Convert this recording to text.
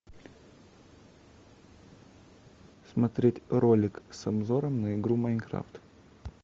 смотреть ролик с обзором на игру майнкрафт